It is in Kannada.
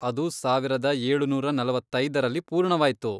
ಅದು ಸಾವಿರದ ಏಳುನೂರ ನಲವತ್ತೈದರಲ್ಲಿ ಪೂರ್ಣವಾಯ್ತು.